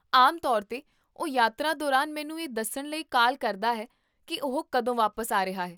ਆਮ ਤੌਰ 'ਤੇ ਉਹ ਯਾਤਰਾ ਦੌਰਾਨ ਮੈਨੂੰ ਇਹ ਦੱਸਣ ਲਈ ਕਾਲ ਕਰਦਾ ਹੈ ਕੀ ਉਹ ਕਦੋਂ ਵਾਪਸ ਆ ਰਿਹਾ ਹੈ